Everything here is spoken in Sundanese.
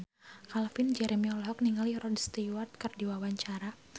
Calvin Jeremy olohok ningali Rod Stewart keur diwawancara